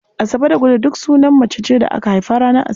Asabe da Gude duk sunan mace ce da aka haifa ranar Asabar.